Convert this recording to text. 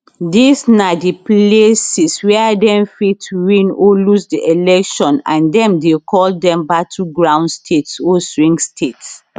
dis na di places wia dem fit win or lose di election and dem dey call dem battleground states or swing states